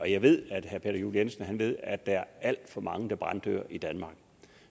jeg ved at herre peter juel jensen ved det at der er alt for mange der branddør i danmark